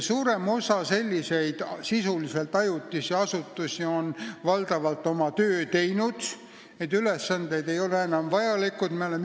Suurem osa selliseid sisuliselt ajutisi asutusi on oma töö valdavalt ära teinud, need ülesanded ei ole enam vajalikud.